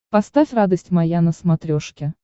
поставь радость моя на смотрешке